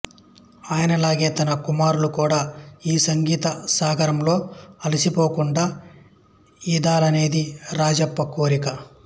ఆయనలాగే తన కుమారులు కూడా ఈ సంగీత సాగరంలో అలసిపోకుండా యీదాలనేది రాజప్ప కోరిక